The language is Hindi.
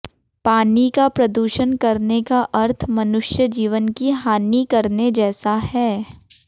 पानी का प्रदूषण करने का अर्थ मनुष्यजीवन की हानी करने जैसा है